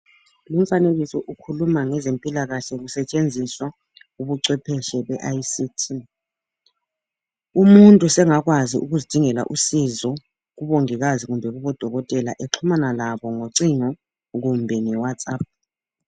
Umfanekiso ukhuluma ngezempilakahle kusetshenziswa ubucwephetshi be ict umuntu sengakwazi ukuzidingela usizo kubongikazi kumbe kubodokotela exhumana labo ngocingo kumbe nge watsup.